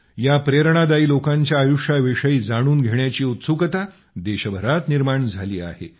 या प्रेरणादायी लोकांच्या आयुष्या विषयी जाणून घेण्याची उत्सुकता देशभरात निर्माण झाली आहे